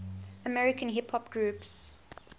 american hip hop groups